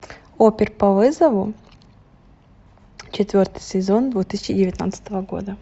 опер по вызову четвертый сезон две тысячи девятнадцатого года